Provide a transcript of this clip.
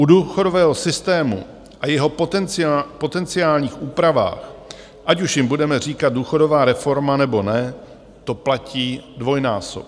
U důchodového systému a jeho potenciálních úprav, ať už jim budeme říkat důchodová reforma, nebo ne, to platí dvojnásob.